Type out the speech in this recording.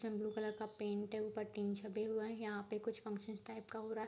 Blue colour का paint है ऊपर टीन छपे हुए हैं यहां पे कुछ फन्संन टाइप का हो रहा है।